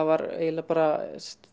var eiginlega bara